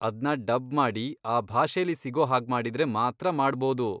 ಅದ್ನ ಡಬ್ ಮಾಡಿ, ಆ ಭಾಷೆಲಿ ಸಿಗೋ ಹಾಗ್ಮಾಡಿದ್ರೆ ಮಾತ್ರ ಮಾಡ್ಬೋದು.